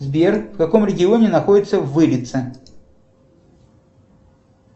сбер в каком регионе находится вырица